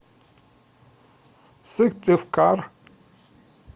сыктывкар